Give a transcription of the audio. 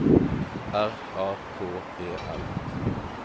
R A K E L